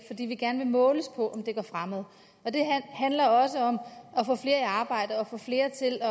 fordi vi gerne vil måles på om det går fremad det handler også om at arbejde og få flere til at